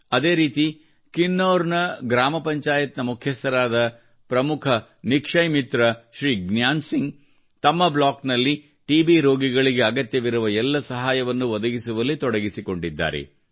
ಅದೇ ರೀತಿ ಕಿನ್ನೌರ್ನ ಗ್ರಾಮ ಪಂಚಾಯತ್ನ ಮುಖ್ಯಸ್ಥರಾದ ಪ್ರಮುಖ ನಿಕ್ಷಯ್ ಮಿತ್ರ ಶ್ರೀ ಜ್ಞಾನ್ ಸಿಂಗ್ ತ ಮ್ಮ ಬ್ಲಾಕ್ನಲ್ಲಿ ಟಿಬಿ ರೋಗಿಗಳಿಗೆ ಅಗತ್ಯವಿರುವ ಎಲ್ಲ ಸಹಾಯವನ್ನು ಒದಗಿಸುವಲ್ಲಿ ತೊಡಗಿಸಿಕೊಂಡಿದ್ದಾರೆ